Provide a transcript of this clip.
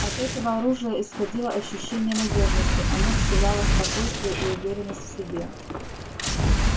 от этого оружия исходило ощущение надёжности оно вселяло спокойствие и уверенность в себе